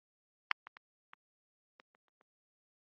Ríkarður, spilaðu tónlist.